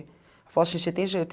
Ela falou assim, você tem